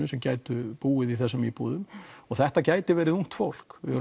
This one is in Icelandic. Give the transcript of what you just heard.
sem gætu búið í þessum íbúðum og þetta gæti verið ungt fólk við